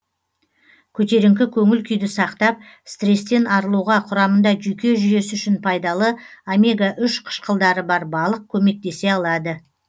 көтеріңкі көңіл күйді сақтап стресстен арылуға құрамында жүйке жүйесі үшін пайдалы омега үш қышқылдары бар балық көмектесе алады